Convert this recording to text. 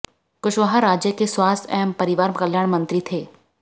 कुशवाहा राज्य के स्वास्थ्य एवं परिवार कल्याण मंत्री थे